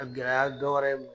A gɛlɛya dɔ wɛrɛ ye m